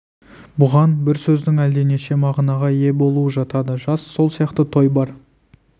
бұған бір сөздің әлденеше мағынаға ие болуы жатады жас сол сияқты той бар